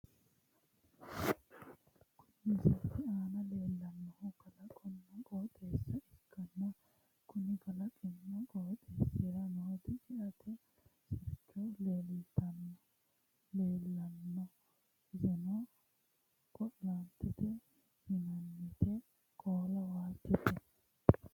kuni misilete aana leellannohu kalaqonna qooxeessa ikkanna, konni kalaqinna qooxeessira nooti ceate sirchino leellanno . iseno qo'laantete yinannite qoola waajjote.